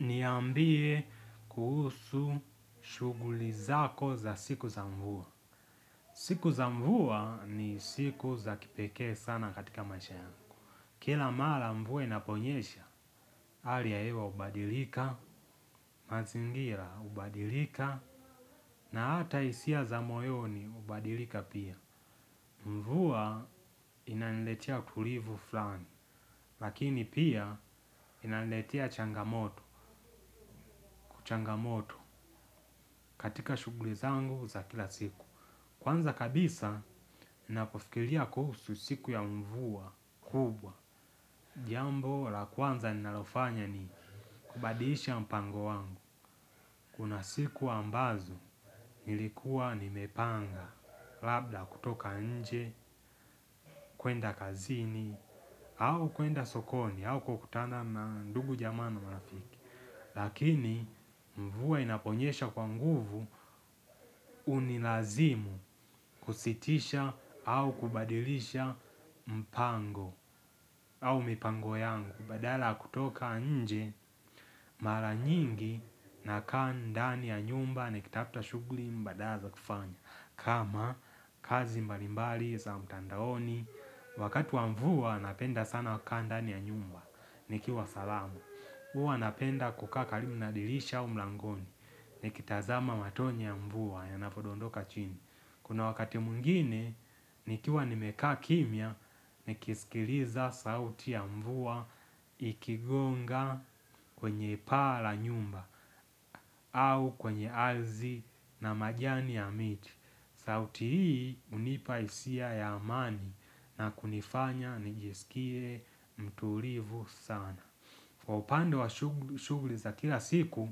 Niambie kuhusu shughuli zako za siku za mvua. Siku za mvua ni siku za kipekee sana katika maisha yangu. Kila mara mvua inaponyesha, hali ya hewa hubadilika, mazingira hubadilika, na hata hisia za moyoni hubadilika pia. Mvua inaniletia tulivu fulani, lakini pia inaniletia changamoto changamoto katika shughuli zangu za kila siku. Kwanza kabisa, ninapofikiria kuhusu siku ya mvua kubwa. Jambo la kwanza ninalofanya ni kubadisha mpango wangu. Kuna siku ambazo nilikuwa nimepanga, labda kutoka nje, kwenda kazini, au kwenda sokoni, au kukutana na ndugu jamaa na marafiki. Lakini mvua inaponyesha kwa nguvu hunilazimu kusitisha au kubadilisha mpango au mipango yangu badala ya kutoka nje, mara nyingi nakaa ndani ya nyumba nikitafuta shughuli mbadala za kufanya. Kama kazi mbalimbali za mtandaoni, wakati wa mvua napenda sana kukaa ndani ya nyumba, nikiwa salama. Huwa napenda kukaa karibu na dirisha au mlangoni nikitazama matone ya mvua yanapodondoka chini. Kuna wakati mwingine, nikiwa nimekaa kimya, nikisikiliza sauti ya mvua ikigonga kwenye paa la nyumba au kwenye ardhi na majani ya miti. Sauti hii hunipa hisia ya amani na kunifanya nijisikie mtulivu sana. Kwa upande wa shughuli za kila siku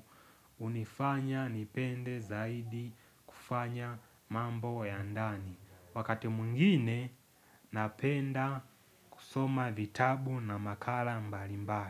unifanya nipende zaidi kufanya mambo ya ndani. Wakati mwingine napenda kusoma vitabu na makala mbalimbali.